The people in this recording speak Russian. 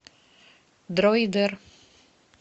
дроидер